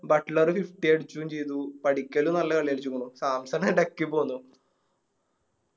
butler Fifty അടിക്കെ ചെയ്തു പടിക്കല് നല്ല കളി കളിചിക്കുണു സാംസൺ എടക്ക് പൊന്നു